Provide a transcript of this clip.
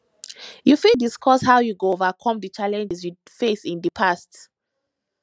you fit discuss how you overcome di challenges you face in di past